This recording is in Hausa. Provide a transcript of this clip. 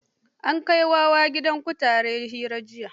An kai wa wa gidan kutare hari jiya.